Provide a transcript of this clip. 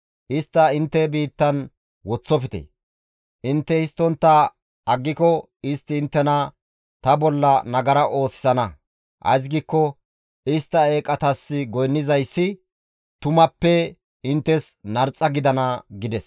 Istta intte biittan woththofte; intte histtontta aggiko istti inttena ta bolla nagara oosisana; ays giikko istta eeqatas goynnizayssi tumappe inttes narxa gidana» gides.